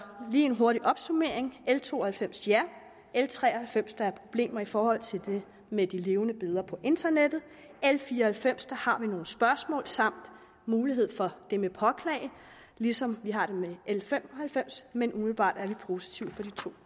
lige en hurtig opsummering l to og halvfems ja l tre og halvfems der er problemer i forhold til det med de levende billeder på internettet l fire og halvfems der har vi nogle spørgsmål samt mulighed for det med at påklage ligesom vi har det med l fem og halvfems men umiddelbart er vi positive